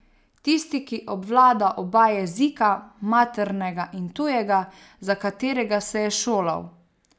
Tisti, ki obvlada oba jezika, maternega in tujega, za katerega se je šolal.